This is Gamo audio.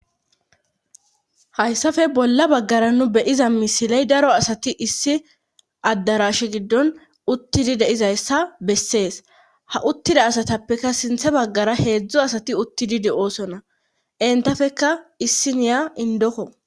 hayssafe bolla baggara nu beyiza misiley daro asati issi addarash giddon uttidi deizayssa bessees ha uttida asatappeka sinthe baggara heedzdzo asati uttididi doosona entafeka issiniya indoko.